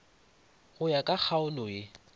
go ya ka kgaolo ye